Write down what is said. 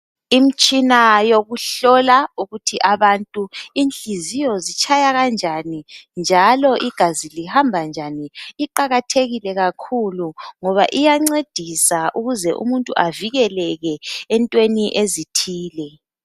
Imitshina yokuhlola abantu ukuthi inhliziyo zitshaya kanjani njalo igazi lihamba njani iqakathekile kakhulu ngoba iyancedisa ukuze umuntu avikeleke entweni ezithile.